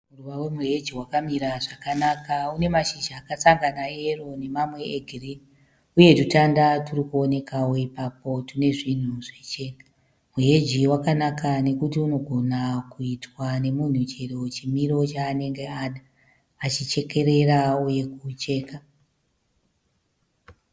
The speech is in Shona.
Muruva wemuheji wakamira zvakanaka. Une mashizha akasangana eyero nemamwe egirini uye twutanda twuri kuonekawo ipapo tune zvinhu zvichena. Muheji wakanaka nokuti unogona kuitwa nemunhu chero chimiro chaanenge ada achichekerera uye kucheka.